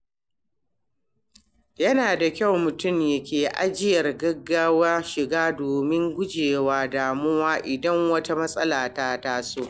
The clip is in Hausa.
Yana da kyau mutum yake ajiyar gaggawa shiga domin gujewa damuwa idan wata matsala ta taso.